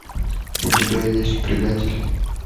у тебя есть предатель